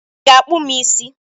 I ga-akpụ m isi?